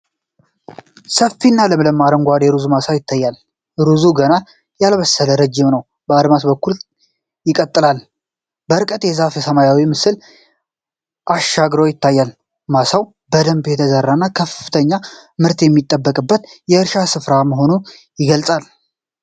ሰፊና ለምለም የአረንጓዴ ሩዝ ማሳ ትታያለች። ሩዙ ገና ያልበሰለና ረጅም ነው፤ በአድማስ በኩል ይቀጥላል። ከርቀት የዛፍና የሰማይ ምስል አሻግሮ ይታያል። ማሳው በደንብ የተዘራና ከፍተኛ ምርት የሚጠበቅበት የእርሻ ስፍራ መሆኑን ይገልጻል።